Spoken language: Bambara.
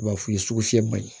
U b'a f'i ye sukasi ma ɲi